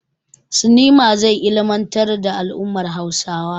Sinema zai ilmantar da al'ummar Hausawa.